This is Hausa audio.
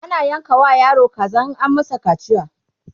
ana yanka wa yaro kaza in an masa kaciya